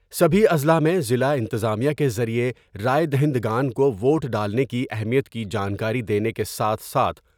سبھی اضلاع میں ضلع انتظامیہ کے ذریعے راۓ دہندگان کو ووٹ دالنے کی اہمیت کی جانکاری دینے کے ساتھ ساتھ ۔